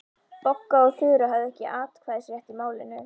Bogga og Þura höfðu ekki atkvæðisrétt í málinu.